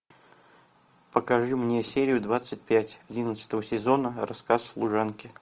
покажи мне серию двадцать пять одиннадцатого сезона рассказ служанки